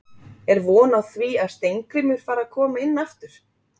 Er von á því að Steingrímur fari að koma inn aftur?